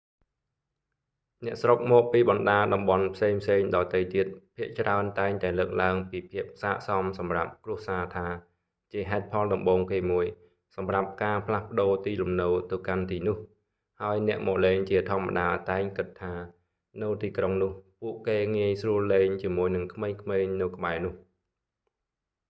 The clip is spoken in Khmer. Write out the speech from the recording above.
អ្នកស្រុកមកពីបណ្តាតំបន់ផ្សេងៗដទៃទៀត ភាគច្រើនតែងតែលើកឡើងពីភាពសាកសមសម្រាប់ គ្រួសារថា ជាហេតុផលដំបូងគេមួយ សម្រាប់ការផ្លាស់ប្ដូរទីលំនៅទៅកាន់ទីនោះ ហើយអ្នកមកលេងជាធម្មតាតែងគិតថា នៅទីក្រុងនោះ ពួកគេងាយស្រួលលេងជាមួយនឹងក្មេងៗនៅក្បែរនោះ